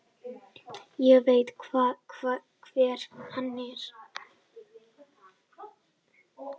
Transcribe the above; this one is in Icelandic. Ég veit hver hann er.